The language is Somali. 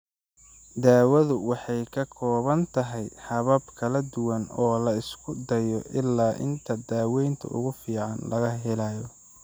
Daawadu waxay ka kooban tahay habab kala duwan oo la isku dayo ilaa inta daawaynta ugu fiican laga helayo.